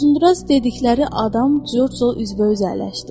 Uzunduraz dedikləri adam Corcla üz-bə-üz əyləşdi.